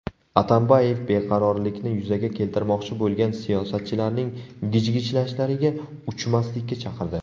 Atambayev beqarorlikni yuzaga keltirmoqchi bo‘lgan siyosatchilarning gijgijlashlariga uchmaslikka chaqirdi.